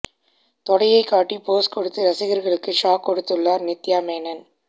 தொடையை காட்டி போஸ் கொடுத்து ரசிகர்களுக்கு ஷாக் கொடுத்துள்ளார் நித்யா மேனன்